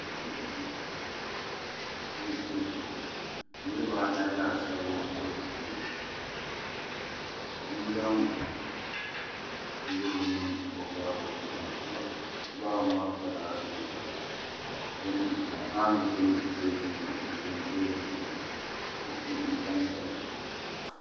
Dibu duu ka niraba anahi laasabu bɛ di puuni ka bia zaŋ bindirigu niŋ o baaba nangbani puuni o baaba maa kpala ninkpara ka paanu bɛ pileet ni n tam teebuli zuɣu kopu n tamya la